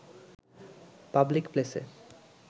public প্লেসে